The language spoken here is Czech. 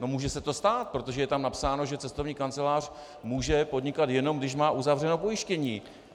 No, může se to stát, protože je tam napsáno, že cestovní kancelář může podnikat, jenom když má uzavřené pojištění.